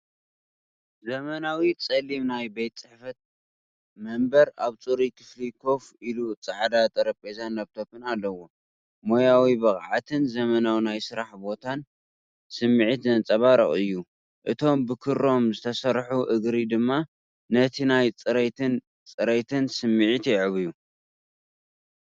ዘመናዊ ጸሊም ናይ ቤት ጽሕፈት መንበር ኣብ ጽሩይ ክፍሊ ኮፍ ኢሉ ጻዕዳ ጠረጴዛን ላፕቶፕን ኣለዎ። ሞያዊ ብቕዓትን ዘመናዊ ናይ ስራሕ ቦታ ስምዒትን ዘንጸባርቕ እዩ። እቶም ብክሮም ዝተሰርሑ እግሪ ድማ ነቲ ናይ ጽሬትን ጽሬትን ስምዒት የዕብዩ።